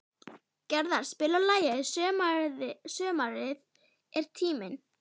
Gerðar, spilaðu lagið „Sumarið er tíminn“.